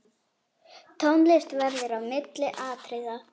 Tónlist verður á milli atriða.